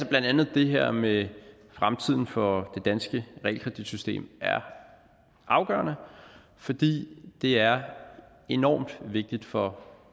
blandt andet det her med fremtiden for det danske realkreditsystem er afgørende fordi det er enormt vigtigt for